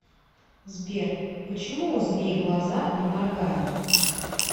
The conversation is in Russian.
сбер почему у змей глаза не моргают